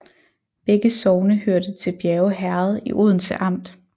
Begge sogne hørte til Bjerge Herred i Odense Amt